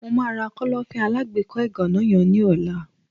mo ma ra Kọ́lọ́fín alágbèékọ́ ìgànná yen ni ola